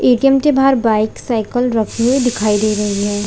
ATM के बाहर bike cycle रखी हुई दिखाई दे रहीं हैं ।